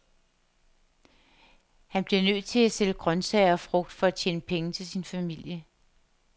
Han bliver nødt til at sælge grøntsager og frugt for at tjene penge til sin familie.